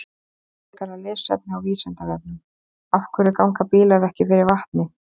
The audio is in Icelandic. Frekara lesefni á Vísindavefnum: Af hverju ganga bílar ekki fyrir vatni?